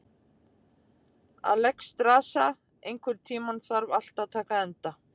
Alexstrasa, einhvern tímann þarf allt að taka enda.